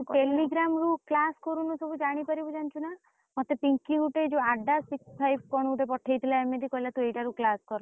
Telegram ରୁ class କରୁନୁ ସବୁ ଜାଣିପାରିବୁ ଜାଣିଚୁ ନା? ମତେ ପିଙ୍କି ଗୋଟେ ଯଉ six five କଣ ଗୋଟେ ପଠେଇଥିଲା ଏମିତି କହିଲା ତୁ ଏଇଟା ରୁ class କର।